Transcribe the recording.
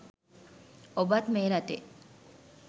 ඔබත් මේ රටේ